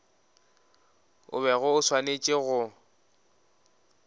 o bego o swanetše go